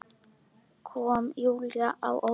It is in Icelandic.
Kom Júlíu á óvart.